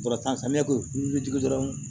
Kɔrɔta ne ko i bɛ dɔrɔn